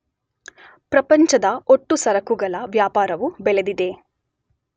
ಪ್ರಪಂಚದ ಒಟ್ಟು ಸರಕುಗಳ ವ್ಯಾಪಾರವೂ ಬೆಳೆದಿದೆ.